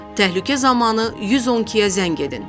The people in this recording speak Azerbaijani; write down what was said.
Təhlükə zamanı 112-yə zəng edin.